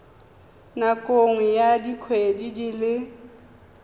nakong ya dikgwedi di le